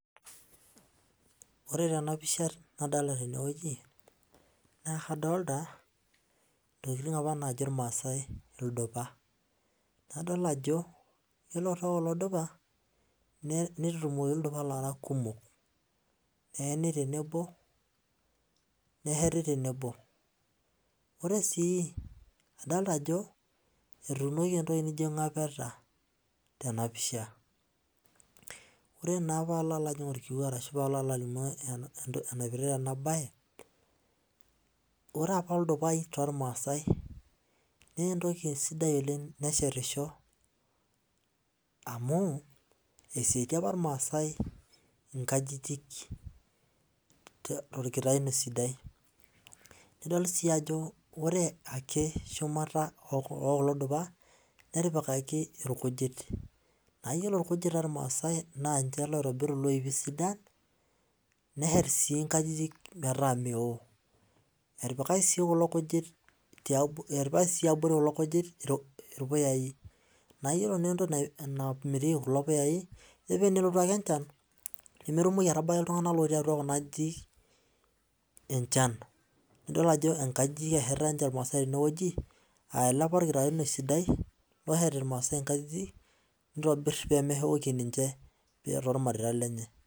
Ore tenapisha nadolta tenewueji ntokitin apa najo irmaasai ildupa ore tekuna dupa nitutumokibildupa lara kumok neeni tenebo ore si adolta ajo otuunoki entoki naijo ngapeta tenapisha ore ba palo ajing orkiu ashu palo alimu enaipirta enabae ore apa ildupa tormaasai na entoki sidai amu eshetie apa irmaasai inkajijik torkitaunye sidai nidol si ajo ore shumata okulo dupa natipikaki irkujit na iyolo irkujit tormaasai na nche oitobiru loipi sidan neshet nkajijik metaa meo etipikaki si nkajijik irpuyai na iyolo si entoki namitiki kuko puyai nemetumoki ashomo atabaki ltunganak otii atua kuna ajijik enchan nidol ajo nkajijik eshetita imraasai tenewueji nitobir pemeoki ninche ormareita lenye